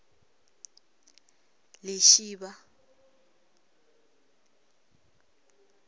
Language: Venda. lishivha